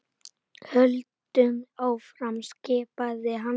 Höldum áfram skipaði hann.